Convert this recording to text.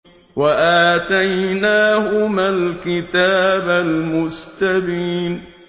وَآتَيْنَاهُمَا الْكِتَابَ الْمُسْتَبِينَ